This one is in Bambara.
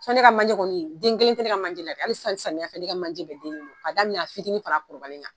San ne ka manje kɔni den kelen tɛ ne ka manjɛ hali sisan samiyɛ fɛ ne ka man jɛ bɛ den k'a daminɛ a fitinin fara a kɔrɔbalen kan